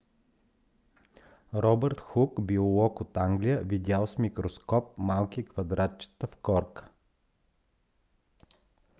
робърт хук биолог от англия видял с микроскоп малки квадратчета в корка